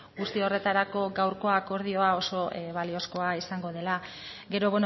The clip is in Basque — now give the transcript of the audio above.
guzti horretarako gaurko akordioa oso baliozkoa izango dela gero